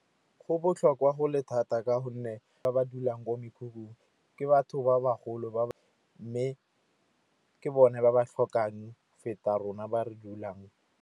Go botlhokwa go le thata ka gonne ba ba dulang ko mekhukhung ke batho ba bagolo. Mme ke bone ba ba tlhokang feta rona ba re dulang.